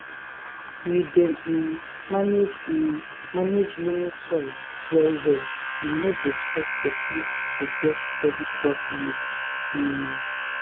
we dey um manage um manage loamy soil well well e no dey stress person to get steady crop yields um